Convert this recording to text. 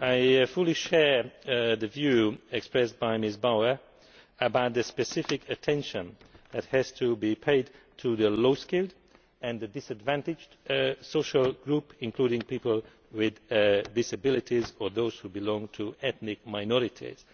I fully share the view expressed by Ms Bauer that specific attention has to be paid to the low skilled and disadvantaged social groups, including people with disabilities or those who belong to ethnic minorities,